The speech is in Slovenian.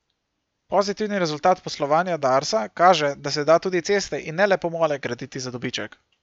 Pozitivni rezultat poslovanja Darsa kaže, da se da tudi ceste in ne le pomole graditi za dobiček.